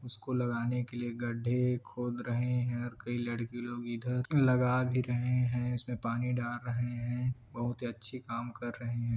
उसको लगाने के लिए गड्डे खोद रहे है और कई लड़की लोग इधर लगा भी रहे है उसमें पानी डाल रहे है बहुत ही अच्छी काम कर रहे हैं।